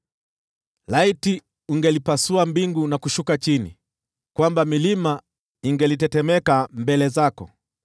Laiti ungelipasua mbingu na kushuka chini, ili milima ingelitetemeka mbele zako!